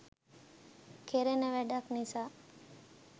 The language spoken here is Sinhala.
කෙරෙන වැඩක් නිසා